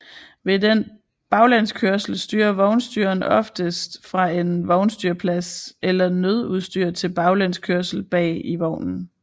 Ved den baglæns kørsel styrer vognstyreren oftest fra en vognstyrerplads eller nødudstyr til baglæns kørsel bag i vognen